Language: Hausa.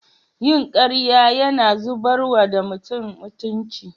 Yin karya Yana zubarwa da mutum mutunci.